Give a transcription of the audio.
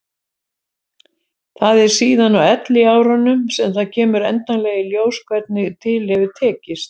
Það er síðan á elliárunum sem það kemur endanlega í ljós hvernig til hefur tekist.